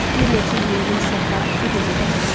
Bir neçə yüngül səhra topu gözə dəyirdi.